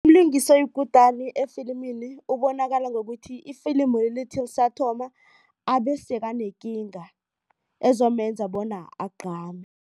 Umlingisi oyikutani efilimini ubonakala ngokuthi ifilimu lithi lisathoma abe sekanekinga ezomenza bona agqame.